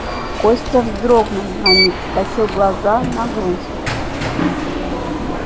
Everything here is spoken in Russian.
костя вздрогнул на миг скосил глаза на грудь